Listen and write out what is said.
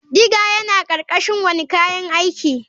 Digger yana ƙarƙashin wane kayan aiki.